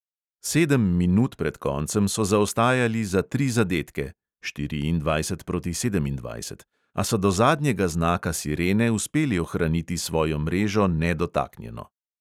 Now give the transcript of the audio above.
Sedem minut pred koncem so zaostajali za tri zadetke (štiriindvajset proti sedemindvajset), a so do zadnjega znaka sirene uspeli ohraniti svojo mrežo nedotaknjeno.